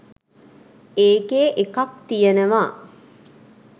ඒකේ එකක් තියනවා